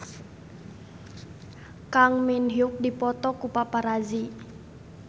Kang Min Hyuk dipoto ku paparazi